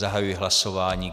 Zahajuji hlasování.